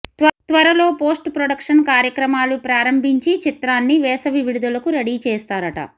త్వరలో post production కార్యక్రమాలు ప్రారంభించి చిత్రాన్ని వేసవి విడుదలకు రెడీ చేస్తారట